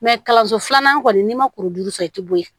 kalanso filanan kɔni n'i ma kurujuru sɔrɔ i ti bɔ ye